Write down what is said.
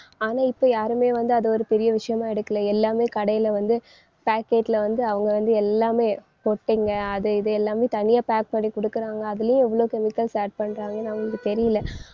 ஆனா இப்ப யாருமே வந்து அதை ஒரு பெரிய விஷயமா எடுக்கலை. எல்லாமே கடையில வந்து packet ல வந்து அவங்க வந்து எல்லாமே கொட்டைங்க. அதை இதை எல்லாமே தனியா pack பண்ணி குடுக்குறாங்க. அதுலயும் எவ்வளவு chemicals add பண்றாங்கன்னு அவங்களுக்கு தெரியல.